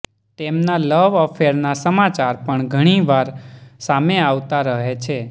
તેમના લવ અફેરના સમાચાર પણ ઘણી વાર સામે આવતા રહે છે